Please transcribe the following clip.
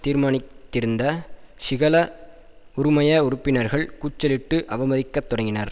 தீர்மானித் திருந்த சிஹல உறுமய உறுப்பினர்கள் கூச்சலிட்டு அவமதிக்கத் தொடங்கினர்